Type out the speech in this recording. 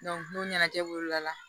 n'o ɲɛnajɛ b'o la